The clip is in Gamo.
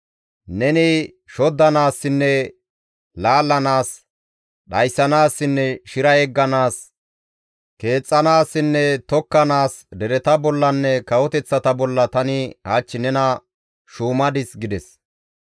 Neni shoddanaassinne laallanaas, dhayssanaassinne shira yegganaas, keexxanaassinne tokkanaas dereta bollanne kawoteththata bolla tani hach nena shuumadis» gides.